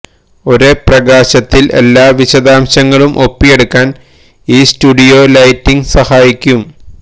ഒരേ പ്രകാശത്തില് എല്ലാ വിശദാംശങ്ങളും ഒപ്പിയെടുക്കാന് ഈ സ്റ്റുഡിയോ ലൈറ്റിങ് സഹായിക്കും